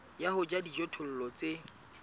ya ho jala dijothollo tse